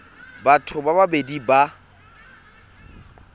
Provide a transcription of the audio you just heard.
batho ba le babedi ba